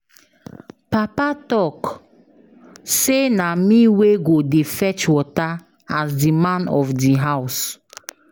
Papa talk say na me wey go dey fetch water as the man of the house